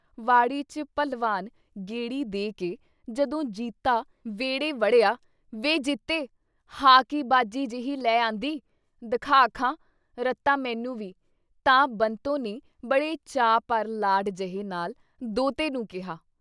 ਵਾੜੀ ਚ ਭਲਵਾਨ ਗੇੜੀ ਦੇ ਕੇ ਜਦੋਂ ਜੀਤਾ ਵਿਹੜੇ ਵੜਿਆ 'ਵੇ ਜੀਤੇ ! ਹਾਅ ਕੀ ਬਾਜੀ ਜੇਹੀ ਲੈ ਆਂਦੀ ? ਦਖਾ ਖਾਂ! "ਰਤਾ ਮੈਨੂੰ ਵੀ !" ਤਾਂ ਬੰਤੋ ਨੇ ਬੜੇ ਚਾਅ ਪਰ ਲਾਡ ਜਹੇ ਨਾਲ ਦੋਹਤੇ ਨੂੰ ਕਿਹਾ।